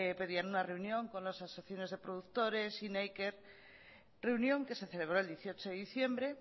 pedían una reunión con las asociaciones de productores y neiker reunión que se celebró el dieciocho de diciembre